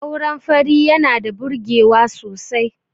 auren fari yana da birgewa sosai